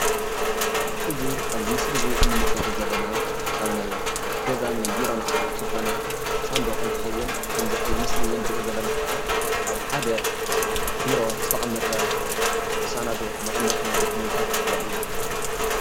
እዚ ኣብዚ ምስሊ እዚ ንምልከቶ ዘለና ካብ ናይ ገዛን ናይ ቢሮን ኣቑሑ ዝኾነ ሳንዱቕ እንትኸውን ከምዚ ኣብዚ ምስሊ እዚ እንሪኦ ዘለና ከዓ ኣብ ሓደ ቢሮ ዝተቐመጠ ሳናዱቕ መቐመጢ ናይ ዶክመንታት የርኢ፡፡